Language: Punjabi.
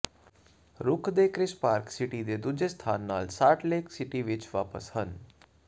ਰੂਥ ਦੇ ਕ੍ਰਿਸ ਪਾਰਕ ਸਿਟੀ ਦੇ ਦੂਜੇ ਸਥਾਨ ਨਾਲ ਸਾਲਟ ਲੇਕ ਸਿਟੀ ਵਿੱਚ ਵਾਪਸ ਹਨ